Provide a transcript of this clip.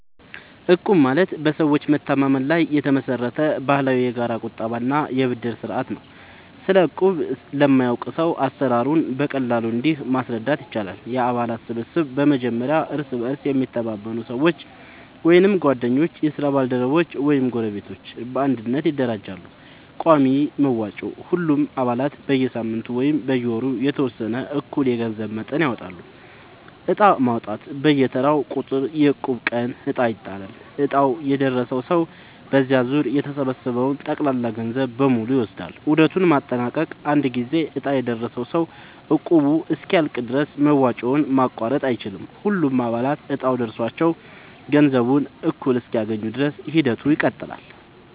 እቁብ ማለት በሰዎች መተማመን ላይ የተመሰረተ ባህላዊ የጋራ ቁጠባ እና የብድር ስርዓት ነው። ስለ እቁብ ለማያውቅ ሰው አሰራሩን በቀላሉ እንዲህ ማስረዳት ይቻላል፦ የአባላት ስብስብ፦ በመጀመሪያ እርስ በእርስ የሚተማመኑ ሰዎች (ጓደኞች፣ የስራ ባልደረቦች ወይም ጎረቤቶች) በአንድነት ይደራጃሉ። ቋሚ መዋጮ፦ ሁሉም አባላት በየሳምንቱ ወይም በየወሩ የተወሰነ እኩል የገንዘብ መጠን ያወጣሉ። ዕጣ ማውጣት፦ በየተራው ቁጥር (የእቁብ ቀን) ዕጣ ይጣላል፤ ዕጣው የደረሰው ሰው በዚያ ዙር የተሰበሰበውን ጠቅላላ ገንዘብ በሙሉ ይወስዳል። ዑደቱን ማጠናቀቅ፦ አንድ ጊዜ ዕጣ የደረሰው ሰው እቁቡ እስኪያልቅ ድረስ መዋጮውን ማቋረጥ አይችልም። ሁሉም አባላት እጣው ደርሷቸው ገንዘቡን እኩል እስኪያገኙ ድረስ ሂደቱ ይቀጥላል።